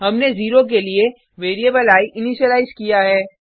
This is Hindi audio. हमने 0 के लिए वेरिएबल आई इनीशिलाइज किया है